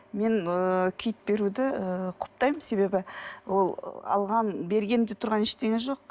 мен ы киіт беруді ы құптаймын себебі ол алған бергенде тұрған ештеңе жоқ